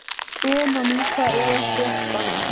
Benóní, hvað er að frétta?